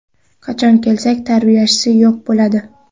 Qachon kelsak, tarbiyachisi yo‘q bo‘ladi.